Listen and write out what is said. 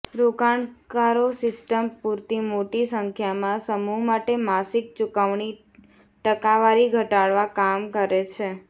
રોકાણકારો સિસ્ટમ પૂરતી મોટી સંખ્યામાં સમૂહ માટે માસિક ચૂકવણી ટકાવારી ઘટાડવા કામ કરે છે